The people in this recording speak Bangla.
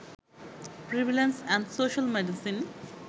prevalence and social medicine